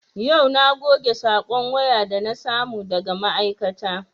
Yau na goge sakon waya da na samu daga ma'aikata